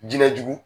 Jinɛ jugu